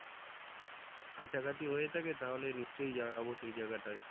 কাছাকাছি হয়ে থাকে তাহলে নিশ্চয় যাবো সেই জায়গাটাই